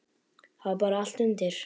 Það var bara allt undir.